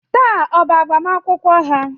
Taa ọ bụ agbamakwụkwọ ha?